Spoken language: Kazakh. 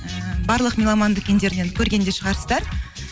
ііі барлық меломан дүкендерінен көрген де шығарсыздар